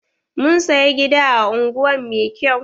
Mun saya gida a unguwan mai kyau.